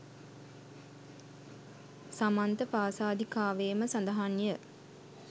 සමන්තපාසාදිකාවේම සඳහන් ය